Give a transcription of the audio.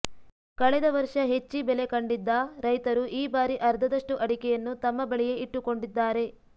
ಕಳೆದ ವರ್ಷ ಹೆಚ್ಚಿ ಬೆಲೆ ಕಂಡಿದ್ದ ರೈತರು ಈ ಬಾರಿ ಅರ್ಧದಷ್ಟು ಅಡಿಕೆಯನ್ನು ತಮ್ಮ ಬಳಿಯೇ ಇಟ್ಟುಕೊಂಡಿದ್ದಾರೆ